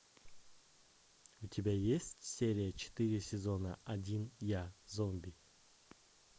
у тебя есть серия четыре сезона один я зомби